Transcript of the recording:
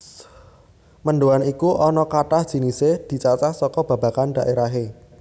Mendhoan iku ana kathah jinisé dicacah saka babagan dhaérahé